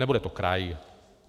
Nebude to kraj.